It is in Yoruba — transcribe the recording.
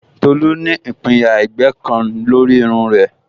Tolu ní ìpinyà ẹ̀gbẹ́ kan lórí irun rẹ̀